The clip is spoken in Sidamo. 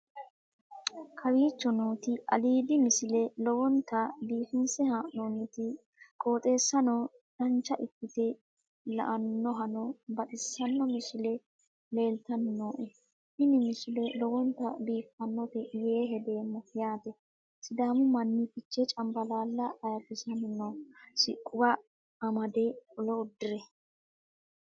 kowicho nooti aliidi misile lowonta biifinse haa'noonniti qooxeessano dancha ikkite la'annohano baxissanno misile leeltanni nooe ini misile lowonta biifffinnote yee hedeemmo yaate sidaamu manni fichee cambalaaalla ayrisanni no siquuwa amade qolo udire